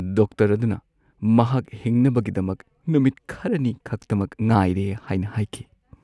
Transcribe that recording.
Doctor ꯑꯗꯨꯅ ꯃꯍꯥꯛ ꯍꯤꯡꯅꯕꯒꯤꯗꯃꯛ ꯅꯨꯃꯤꯠ ꯈꯔꯅꯤ ꯈꯛꯇꯃꯛ ꯉꯥꯏꯔꯦ ꯍꯥꯏꯅ ꯍꯥꯏꯈꯤ꯫